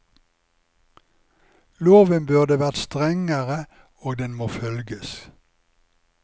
Loven burde vært strengere og den må følges.